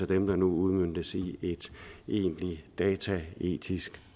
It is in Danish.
dem der nu udmøntes i et egentligt dataetisk